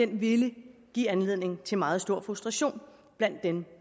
ville give anledning til meget stor frustration blandt dem